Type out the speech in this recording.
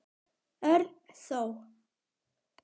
Örn þó.